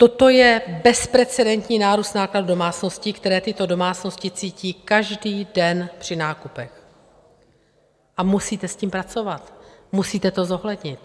Toto je bezprecedentní nárůst nákladů domácností, které tyto domácnosti cítí každý den při nákupech, a musíte s tím pracovat, musíte to zohlednit.